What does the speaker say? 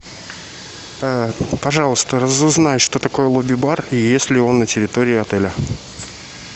пожалуйста разузнай что такое лобби бар и есть ли он на территории отеля